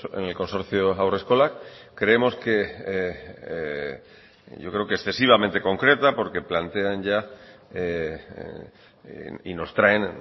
en el consorcio haurreskolak creemos que yo creo que excesivamente concreta porque plantean ya y nos traen